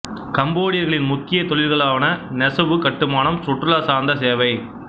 கம்போடியர்களின் முக்கிய தொழில்களாவன நெசவு கட்டுமானம் சுற்றுலா சார்ந்த சேவை